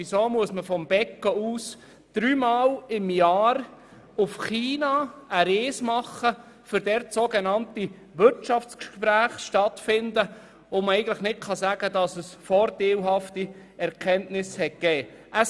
Weshalb muss jemand vom Beco dreimal im Jahr nach China reisen, um dort sogenannte Wirtschaftsgespräche zu führen, von denen man nicht sagen kann, dass sie vorteilhafte Erkenntnisse erbracht haben?